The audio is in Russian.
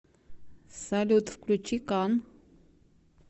салют включи кан